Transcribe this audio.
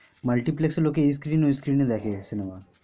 multiplex এ লোকে এ screen ওই screen এ দেখে cinema